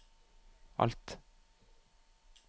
alt